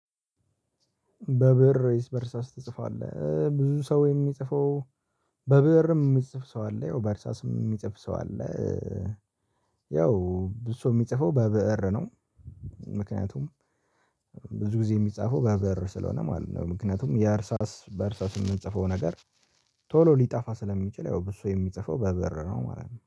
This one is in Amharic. በብእር ወይስ በእርሳስ ትጽፋለህ? ብዙ ሰው የሚጽፈው በብእርም የሚጽፍ ሰው አለ ያው በእርሳስም የሚጽፍ ሰው አለ። ያው ብዙ ሰው የሚጽፈው በብእር ነው። ምክንያቱም ብዙ ጊዜ የሚጻፈው በብር ስለሆነ ማለት ነው። ምክንያቱም የአርሳስ በአርሳስ የምንጽፈው ነገር ቶሎ ሊጣፋ ስለሚችል ያው ብዙ ሰው የሚጽፈው በበር ነው ማለት ነው